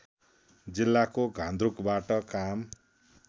जिल्लाको घान्द्रुकबाट काम